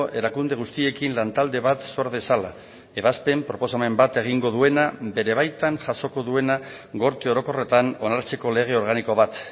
erakunde guztiekin lantalde bat sor dezala ebazpen proposamen bat egingo duena bere baitan jasoko duena gorte orokorretan onartzeko lege organiko bat